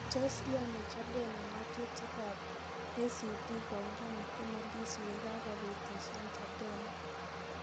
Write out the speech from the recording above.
Tos iyani Chadema ng'atutik ab ACT koungan mkono Lissu yekagopitisyan Chadema?